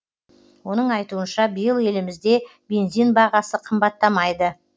оның айтуынша биыл елімізде бензин бағасы қымбаттамайды